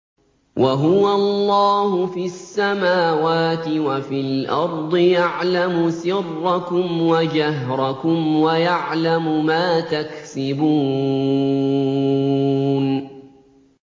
وَهُوَ اللَّهُ فِي السَّمَاوَاتِ وَفِي الْأَرْضِ ۖ يَعْلَمُ سِرَّكُمْ وَجَهْرَكُمْ وَيَعْلَمُ مَا تَكْسِبُونَ